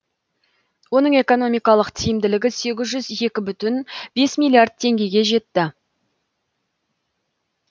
оның экономикалық тиімділігі сегіз жүз екі бүтін бес миллиард теңгеге жетті